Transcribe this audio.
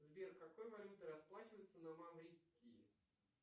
сбер какой валютой расплачиваются на маврикии